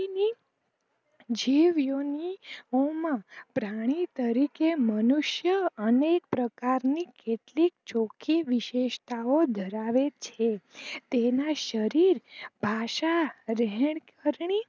માં પ્રાણી તરીકે મનુસ્ય અને પ્રકારમિક કેટલી ચોખી વિશેષતાઓ ધરાવે છે તેના શરીર ભાષા રેહનકર્ણી